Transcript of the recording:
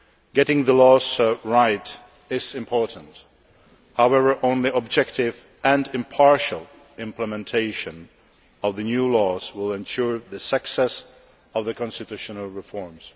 Getting the laws right is important. However, only objective and impartial implementation of the new laws will ensure the success of the constitutional reforms.